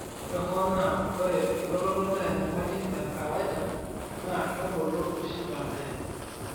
ore hoo naa ore elototo naa enyamali e kawaida, naa kebulu oshi baadaye.